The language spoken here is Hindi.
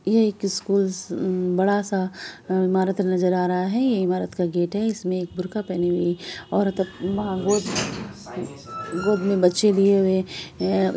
यह एक स्कूल सा बड़ा-सा ईमारत नजर आ रहा है| यह ईमारत का गेट है इसमें एक बुरखा पहनी हुई औरत गेट गोद में बच्चे लिए हुए अ--